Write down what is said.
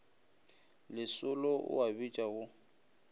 lesolo o a bitša go